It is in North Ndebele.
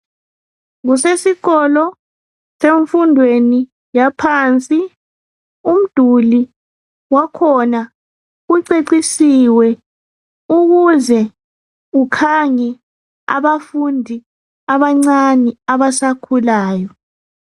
Kusesikolo semfundweni yaphansi umduli wakhona ucecisiwe ukuze ukhange abafundi abancane abasakhulayo.